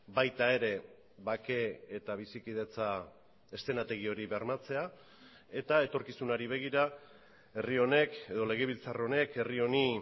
baita ere bake eta bizikidetza eszenategi hori bermatzea eta etorkizunari begira herri honek edo legebiltzar honek herri honi